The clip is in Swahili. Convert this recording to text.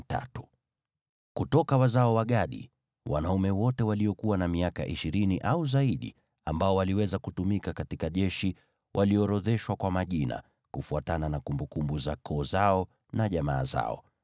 Kutoka wazao wa Gadi: Wanaume wote waliokuwa na miaka ishirini au zaidi ambao waliweza kutumika katika jeshi waliorodheshwa kwa majina, kufuatana na kumbukumbu za koo zao na jamaa zao.